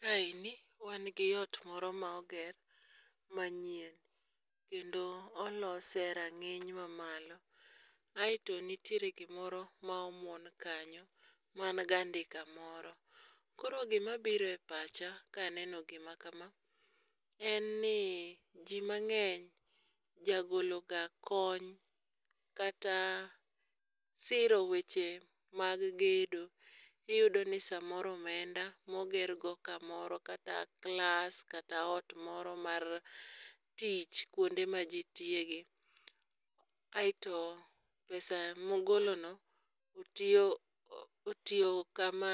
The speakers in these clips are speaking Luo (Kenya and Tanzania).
Kaeni wan gi ot moro ma oger ma nyien kendo olose e ranginy ma malo aitto nitiere gi moro ma omuon kanyo man gi andika moro. Koro gi ma biro e pacha ka aneno ndiko ni en ni ji mang'eny ja golo ga kony kata siro weche mag gedo. Iyudo ni saa moro omenda ma ogergo ka moro kata klas, kata ot moro mar tich kuonde ma ji tiye gi. Kaito pesa ma ogolo no otiyo ka ma ogolo no otiyo kama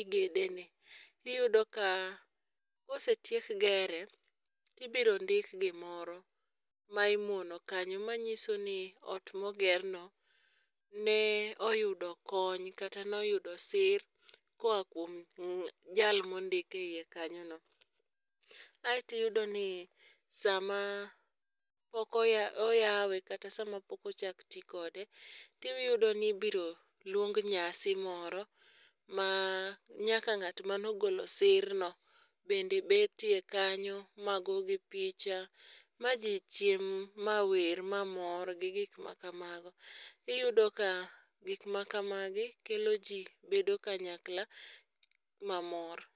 igede ni iyudo ka ka osetiek gere ibiro ndik gi moro ma imuono kanyo ma ng'iso ni ot ma oger no ne oyudo kony kata ne oyudo sir ko oa kuom jal ma ondik e iye kanyo no.Aito iyudo ni saa ma ok oyawi kata sama pok ochak ti kode iyudo ni ibo luong nyasi moro ma nyaka ng'at mane ogolo sir no bet e iye kanyo mago gi picha ,ma ji chiem, ma wer, ma mor gi gik ma kamago. Iyudo ka gik ma kamagi kelo ji bedo kanyakla ma mor.